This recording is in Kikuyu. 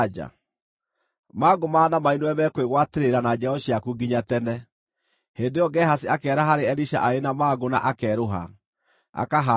Mangũ ma Naamani nĩwe mekwĩgwatĩrĩra na njiaro ciaku nginya tene.” Hĩndĩ ĩyo Gehazi akĩehera harĩ Elisha arĩ na mangũ na akerũha, akahaana o ta ira.